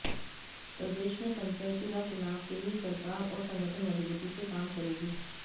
प्रदेश में पंचायती राज चुनाव के लिए सरकार और संगठन मजबूती से काम करेगी